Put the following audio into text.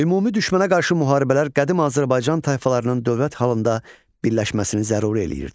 Ümumi düşmənə qarşı müharibələr qədim Azərbaycan tayfalarının dövlət halında birləşməsini zəruri eləyirdi.